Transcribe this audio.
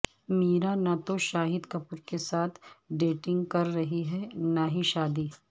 میرا نہ تو شاہد کپور کے ساتھ ڈیٹنگ کر رہی ہیں نہ ہی شادی